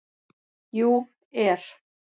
. jú. er.